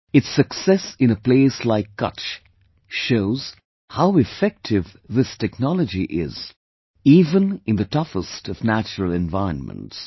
Its success in a place like Kutch shows how effective this technology is, even in the toughest of natural environments